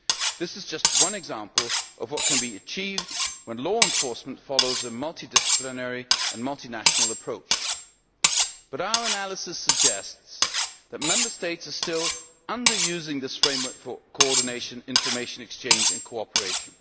This is just one example of what can be achieved when law enforcement follows a multidisciplinary and multinational approach. But our analysis suggests that Member States are still under using this framework for coordination, information exchange and cooperation.